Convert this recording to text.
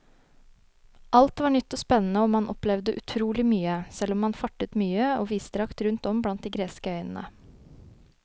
Alt var nytt og spennende og man opplevde utrolig mye, selv om man fartet mye og vidstrakt rundt om blant de greske øyene.